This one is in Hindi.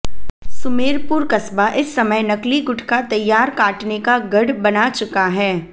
सुमेरपुर कस्बा इस समय नकली गुटखा तैयार काटने का गढ़ बना चुका है